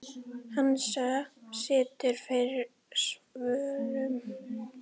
Hansa situr fyrir svörum.